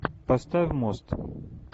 поставь мост